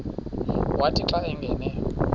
wathi xa angena